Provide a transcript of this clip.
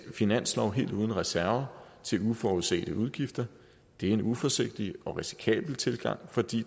finanslov helt uden reserver til uforudsete udgifter det er en uforsigtig og risikabel tilgang fordi